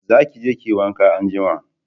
Za ki je ki yi wanka anjima